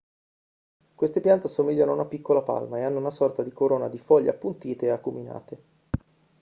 queste piante assomigliano a una piccola palma e hanno una sorta di corona di foglie appuntite e acuminate